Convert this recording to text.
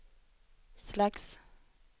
slags